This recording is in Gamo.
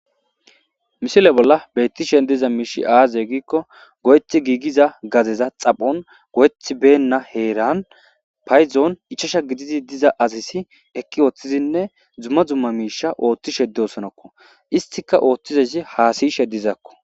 Missile bolla bettish diza mishi aze giikko goyet gigiza gadeza xaphon goheti bena heran paydon ichchacha gidid asati eqi othidinne duma dumma misha othishe dosonakko istika othizay hassayishe dizakko